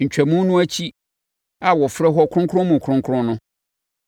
Ntwamu no akyi a wɔfrɛ hɔ Kronkron mu Kronkron no,